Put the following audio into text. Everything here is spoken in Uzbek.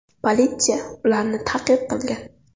Politsiya ularni ta’qib qilgan.